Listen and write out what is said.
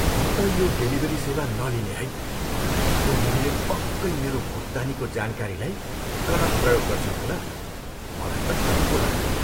म त यो डेलिभरी सेवा नलिने है। उनीहरूले पक्कै मेरो भुक्तानीको जानकारीलाई गलत प्रयोग गर्छन् होला। मलाई त डर पो लाग्यो।